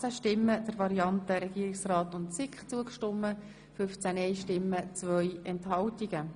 Sind Sie einverstanden mit dieser Löschung?